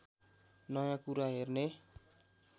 नयाँ कुरा हेर्ने